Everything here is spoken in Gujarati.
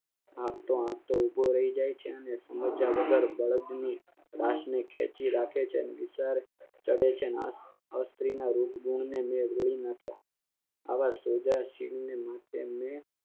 આપ તો આજ તો ઉભો રહી જાય છે અને સમજ્યા વગર બળદની ખેંચી રાખે છે અને વિચાર ચડે છે સ્ત્રીના રૂપ ગુણને નાખ્યા આવાસ યોજાશે ને માટે